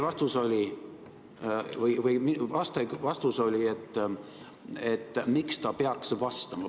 Vastaja vastus oli, et miks ta peaks vastama.